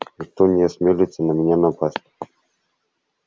никто не осмелится на меня напасть